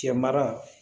Cɛ mara